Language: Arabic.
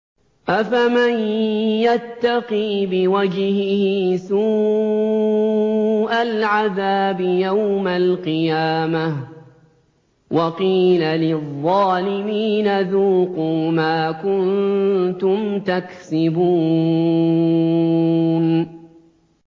أَفَمَن يَتَّقِي بِوَجْهِهِ سُوءَ الْعَذَابِ يَوْمَ الْقِيَامَةِ ۚ وَقِيلَ لِلظَّالِمِينَ ذُوقُوا مَا كُنتُمْ تَكْسِبُونَ